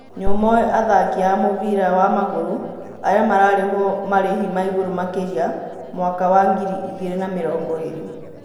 Nĩũmoĩ athaki a mũbĩra wa Magũrũ arĩa mararĩhwo marĩhi maigũrũ makĩria mwaka wa ngiri igĩrĩ na mĩrongoĩrĩ